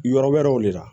Yɔrɔ wɛrɛw de la